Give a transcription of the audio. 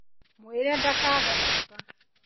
Mwĩre ndakage gũũka